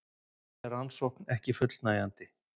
Telja rannsókn ekki fullnægjandi